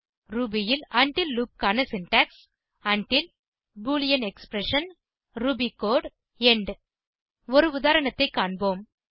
Ruby ல் உண்டில் loop க்கான சின்டாக்ஸ் உண்டில் Boolean expression Ruby code end ஒரு உதாரணத்தை காண்போம்